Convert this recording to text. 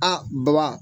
Aa baba